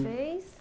fez?